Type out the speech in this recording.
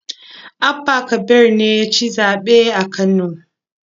Abba kabir ne ya ci zaɓe a Kano.